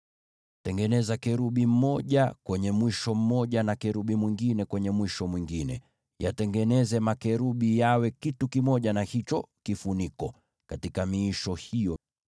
Tengeneza kerubi mmoja kwenye mwisho mmoja, na kerubi mwingine kwenye mwisho mwingine; watengeneze makerubi hao wawe kitu kimoja na hicho kifuniko katika miisho hiyo miwili.